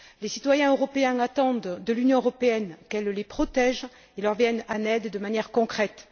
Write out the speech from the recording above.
Les citoyens européens attendent de l'Union européenne qu'elle les protège et leur vienne en aide de manière concrète.